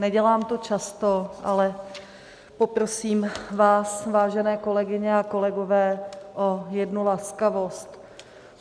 Nedělám to často, ale poprosím vás, vážené kolegyně a kolegové, o jednu laskavost.